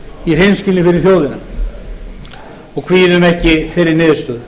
í hreinskilni fyrir þjóðina og kvíðum ekki þeirri niðurstöðu